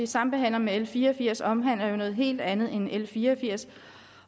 sambehandles med l fire og firs omhandler noget helt andet end l fire og firs